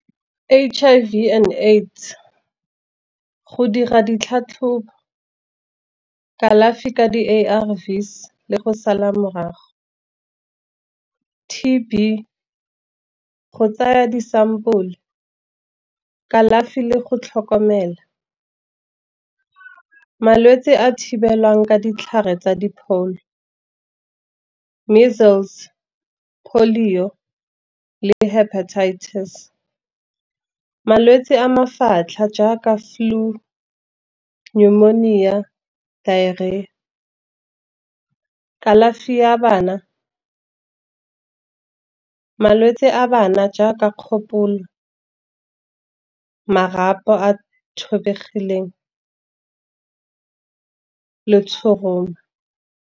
H_I_V and AIDS go dira ditlhatlhobo, kalafi ka di-A_R_V's le go sala morago. T_B go tsaya di sampole, kalafi le go tlhokomela. Malwetse a thibelwang ka ditlhare tsa dipholo, measles, polio le herpetitis, malwetse a mafatlha jaaka flu, pneumonia, diarrhea. Kalafi ya bana malwetse a bana, jaaka kgopolo marapo a thobegileng le tshoroma.